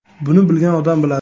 Buni bilgan odam biladi.